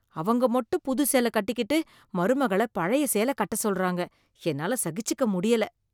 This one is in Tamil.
அவங்க மட்டும் புது சேலக் கட்டிக்கிட்டு மருமகள பழைய சேலக் கட்ட சொல்றாங்க, என்னால சகிச்சுக்க முடியல.